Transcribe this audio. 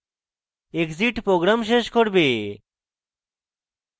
exit program শেষ করবে